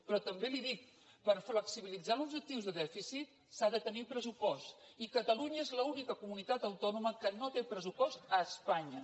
però també li ho dic per flexibilitzar l’objectiu de dèficit s’ha de tenir pressupost i catalunya és l’única comunitat autònoma que no té pressupost a espanya